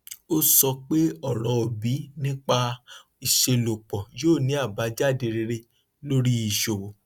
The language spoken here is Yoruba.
ó sọ pé ọrọ obi nípa ìṣelọpọ yóò ní àbájáde rere lórí ìṣòwò